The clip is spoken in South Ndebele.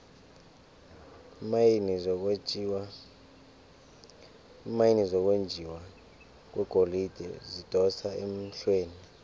iimayini zokwenjiwa kwegolide zidosa emhlweni